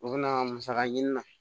U bɛna musaka ɲini na